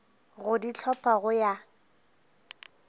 go di hlopha go ya